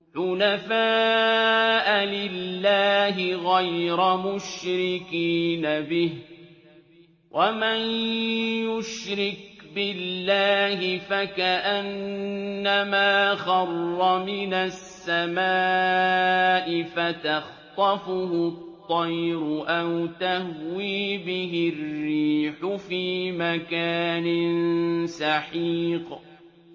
حُنَفَاءَ لِلَّهِ غَيْرَ مُشْرِكِينَ بِهِ ۚ وَمَن يُشْرِكْ بِاللَّهِ فَكَأَنَّمَا خَرَّ مِنَ السَّمَاءِ فَتَخْطَفُهُ الطَّيْرُ أَوْ تَهْوِي بِهِ الرِّيحُ فِي مَكَانٍ سَحِيقٍ